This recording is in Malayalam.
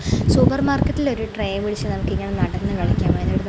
സൂപ്പർ മാർക്കറ്റിൽ ഒരു ട്രേ പിടിച്ച് നമുക്ക് ഇങ്ങനെ നടന്ന് കളിക്കാം അതിനൊരു ന--